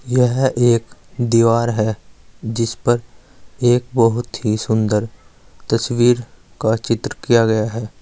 यह एक दीवार है जिसपर एक बहुत ही सुंदर तस्वीर का चित्र किया गया है।